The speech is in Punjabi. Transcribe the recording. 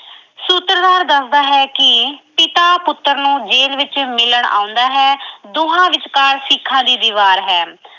ਸੂਤਰਧਾਰ ਦੱਸਦਾ ਹੈ ਕਿ ਪਿਤਾ ਪੁੱਤਰ ਨੂੰ ਜੇਲ ਵਿੱਚ ਮਿਲਣ ਆਉਂਦਾ ਹੈ। ਦੋਹਾਂ ਵਿਚਕਾਰ ਸੀਖਾਂ ਦੀ ਦੀਵਾਰ ਹੈ।